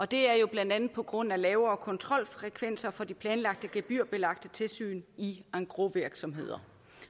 det er jo blandt andet på grund af lavere kontrolfrekvens for de planlagte gebyrbelagte tilsyn i engrosvirksomheder